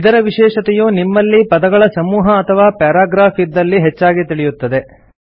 ಇದರ ವಿಶೇಷತೆಯು ನಿಮ್ಮಲ್ಲಿ ಪದಗಳ ಸಮೂಹ ಅಥವಾ ಪ್ಯಾರಾಗ್ರಾಫ್ ಇದ್ದಲ್ಲಿ ಹೆಚ್ಚಾಗಿ ತಿಳಿಯುತ್ತದೆ